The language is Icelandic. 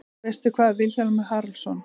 Veistu hvað, Vilhjálmur Haraldsson?